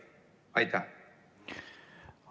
Aitäh!